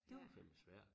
Det var fandme svært